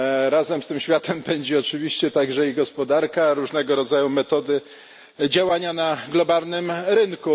Razem z tym światem pędzi oczywiście także i gospodarka, różnego rodzaju metody działania na globalnym rynku.